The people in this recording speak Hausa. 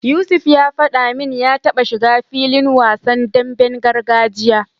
Yusuf ya faɗa min ya taba shiga filin wasan demben gargajiya.